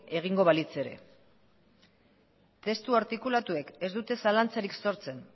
egingo balitz ere testu artikulatuek ez dute zalantzarik sortzen